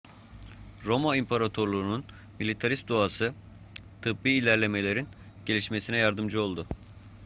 roma imparatorluğunun militarist doğası tıbbi ilerlemelerin gelişmesine yardımcı oldu